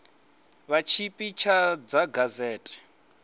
vha tshipi ḓa tsha gazete